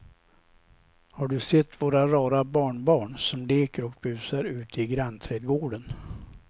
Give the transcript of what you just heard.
Har du sett våra rara barnbarn som leker och busar ute i grannträdgården!